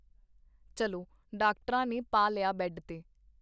ਚੱਲੋਡਾਕਟਰਾਂ ਨੇ ਪਾ ਲਿਆ ਬੇਡ ਤੇ .